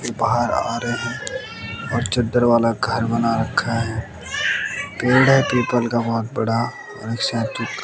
बाहर आ रहे हैं और चद्दर वाला घर बना रखा है पेड़ है पीपल का बहोत बड़ा और एक शायद तू--